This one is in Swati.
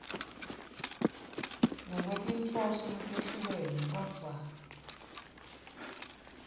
ngekwetinhloso letehlukene kodvwa